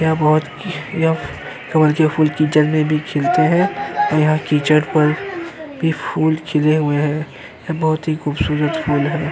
यह बोहोत यह कमल के फूल की जल में भी खिलते हैं और यहाँ कीचड़ पर भी फूल खिले हुए हैं। यह बहुत ही खूबसूरत फूल है।